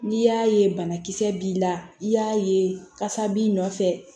N'i y'a ye banakisɛ b'i la i y'a ye kasa b'i nɔfɛ